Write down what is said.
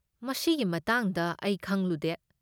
ꯃꯁꯤꯒꯤ ꯃꯇꯥꯡꯗ ꯑꯩ ꯈꯪꯂꯨꯗꯦ꯫